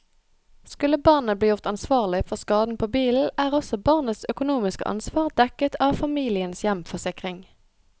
Skulle barnet bli gjort ansvarlig for skaden på bilen, er også barnets økonomiske ansvar dekket av familiens hjemforsikring.